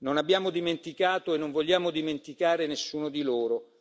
Non abbiamo dimenticato e non vogliamo dimenticare nessuno di loro.